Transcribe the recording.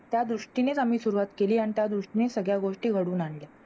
त्या दृष्टीनेचआम्ही सुरुवात केली अन त्या दृष्टीने सगळ्या गोष्टी घडून आणल्या